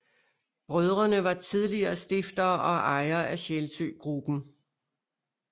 Brødrene var tidligere stiftere og ejere af Sjælsø Gruppen